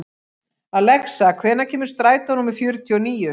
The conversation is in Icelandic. Alexa, hvenær kemur strætó númer fjörutíu og níu?